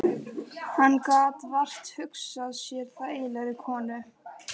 Hann gat vart hugsað sér þægilegri konu.